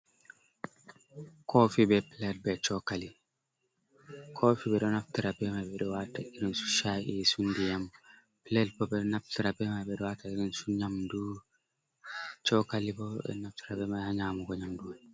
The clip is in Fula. Koofi be pilet be chokali. Koofi ɓeɗo naftira bemai ɓeɗo waata irinsu shayi su ndiyam, pilet bo ɓeɗo naftira bemai ɓeɗo wata irinsu nyamdu, chokali bo ɓeɗo naftira bemay ha nyamdu.